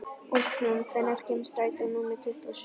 Úlfrún, hvenær kemur strætó númer tuttugu og sjö?